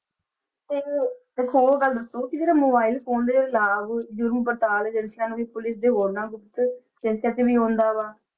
ਫਿਰ ਇੱਕ ਹੋਰ ਗੱਲ ਦੱਸੋ ਕਿ ਜਿਹੜੇ mobile phone ਦੇ ਜਿਹੜੇ ਲਾਭ ਜੁਰਮ ਪੜਤਾਲ ਏਜੰਸੀਆਂ ਨੂੰ ਵੀ ਪੁੱਲਿਸ ਦੇ 'ਚ ਵੀ ਆਉਂਦਾ ਵਾ।